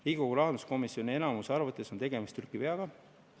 Riigikogu rahanduskomisjoni enamuse arvates on tegemist näpuveaga.